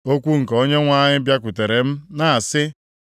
Okwu nke Onyenwe anyị bịakwutere m na-asị,